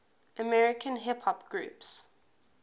american hip hop groups